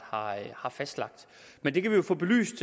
har fastlagt men det kan vi jo få belyst